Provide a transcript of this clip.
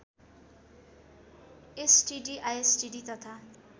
STD ISTD तथा